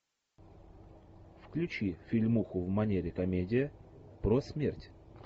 включи фильмуху в манере комедия про смерть